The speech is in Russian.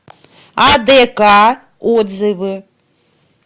адк отзывы